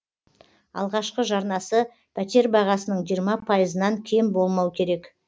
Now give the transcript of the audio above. алғашқы жарнасы пәтер бағасының жиырма пайызынан кем болмау керек